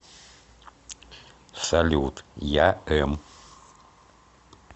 салют я эм